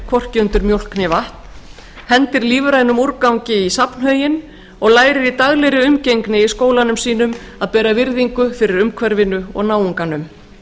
né vatn úr einnota umbúðum hendir lífrænum úrgangi í safnhauginn og lærir í daglegri umgengni í skólanum sínum að bera virðingu fyrir umhverfinu og náunganum